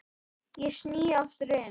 Ég sný aftur inn.